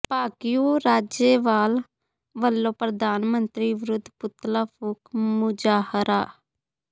ਭਾਕਿਯੂ ਰਾਜੇਵਾਲ ਵੱਲੋਂ ਪ੍ਰਧਾਨ ਮੰਤਰੀ ਵਿਰੁੱਧ ਪੁਤਲਾ ਫੂਕ ਮੁਜ਼ਾਹਰਾ